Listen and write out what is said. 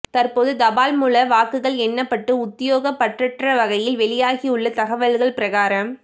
தற்போது தபால் மூல வாக்குகள் எண்ணப்பட்டு உத்தியோகப்பற்றற்ற வகையில் வெளியாகியுள்ள தகவல்கள் பிரகாரம்